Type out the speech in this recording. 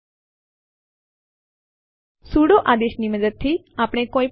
આપણે લખીશું cp space એક અથવા વધુ વિકલ્પ